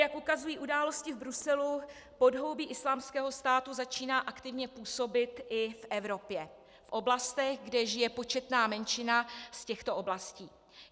Jak ukazují události v Bruselu, podhoubí Islámského státu začíná aktivně působit i v Evropě v oblastech, kde žije početná menšina z těchto oblastí.